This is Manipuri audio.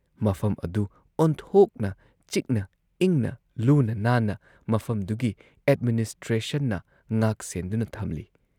ꯃꯐꯝ ꯑꯗꯨ ꯑꯣꯟꯊꯣꯛꯅ ꯆꯤꯛꯅ ꯏꯪꯅ ꯂꯨꯅ ꯅꯥꯟꯅ ꯃꯐꯝꯗꯨꯒꯤ ꯑꯦꯗꯃꯤꯅꯤꯁꯇ꯭ꯔꯦꯁꯟꯅ ꯉꯥꯛ ꯁꯦꯟꯗꯨꯅ ꯊꯝꯂꯤ ꯫